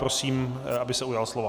Prosím, aby se ujal slova.